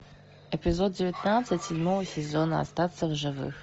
эпизод девятнадцать седьмого сезона остаться в живых